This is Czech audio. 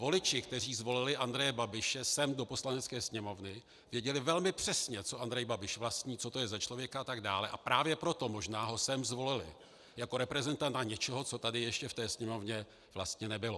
Voliči, kteří zvolili Andreje Babiše sem do Poslanecké sněmovny, věděli velmi přesně, co Andrej Babiš vlastní, co to je za člověka a tak dále, a právě proto možná ho sem zvolili jako reprezentanta něčeho, co tady ještě v té Sněmovně vlastně nebylo.